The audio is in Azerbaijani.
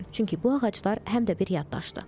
Çünki bu ağaclar həm də bir yaddaşdır.